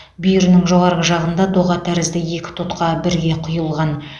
бүйірінің жоғарғы жағында доға тәрізді екі тұтқа бірге құйылған